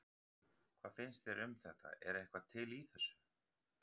Hvað finnst þér um þetta er eitthvað til í þessu?